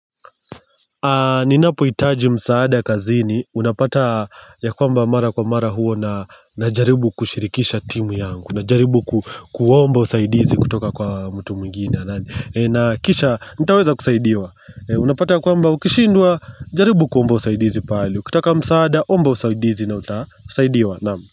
Ninapoitaji msaada kazini, unapata ya kwamba mara kwa mara huo najaribu kushirikisha timu yangu, najaribu kuomba usaidizi kutoka kwa mtu mwingine anani na kisha, nitaweza kusaidiwa, unapata ya kwamba ukishindwa, jaribu kuomba usaidizi pale, ukitaka msaada, ombo usaidizi na utasaidiwa, naam.